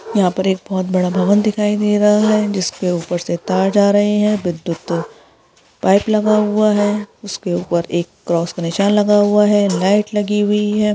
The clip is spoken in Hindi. यहां पर एक बहुत बड़ा भवन दिखाई दे रहा है जिसके ऊपर से तार जा रहे हैं विद्युत पाइप लगा हुआ है उसके ऊपर एक क्रॉस का निशान लगा हुआ है लाइट लगी हुई है |